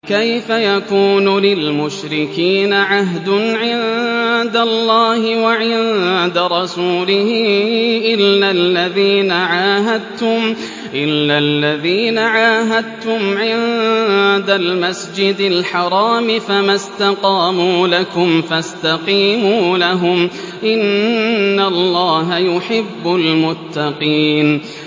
كَيْفَ يَكُونُ لِلْمُشْرِكِينَ عَهْدٌ عِندَ اللَّهِ وَعِندَ رَسُولِهِ إِلَّا الَّذِينَ عَاهَدتُّمْ عِندَ الْمَسْجِدِ الْحَرَامِ ۖ فَمَا اسْتَقَامُوا لَكُمْ فَاسْتَقِيمُوا لَهُمْ ۚ إِنَّ اللَّهَ يُحِبُّ الْمُتَّقِينَ